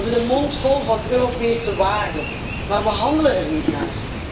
We hebben de mond vol van Europese waarden, maar we handelen er niet naar.